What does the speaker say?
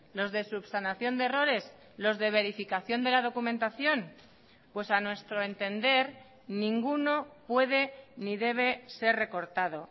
los de subsanación de errores los de verificación de la documentación pues a nuestro entender ninguno puede ni debe ser recortado